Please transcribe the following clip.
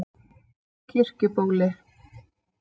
Kirkjubóli